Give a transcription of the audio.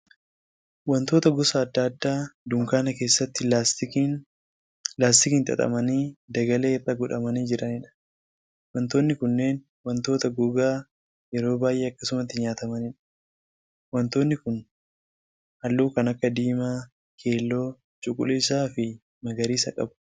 Wantoota gosa adda addaa dunkaana keessatti laastikiin xaxamanii dagalee irra godhamanii jiraniidha. Wantootni kunneen wantoota gogaa yeroo baay'ee akkasumatti nyaatamaniidha. Wantoonni kun halluu kan akka diimaa, keelloo, cuquliisaa fi magariisa qabu.